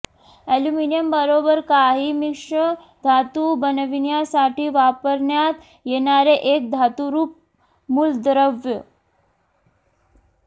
ऍल्युमिनियमबरोबर काही मिश्रधातू बनविण्यासाठी वापरण्यात येणारे एक धातुरूप मूलद्रव्य